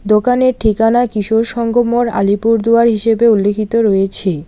দোকানের ঠিকানা কিশোর সংঘ মোড় আলিপুরদুয়ার হিসেবে উল্লেখিত রয়েছে।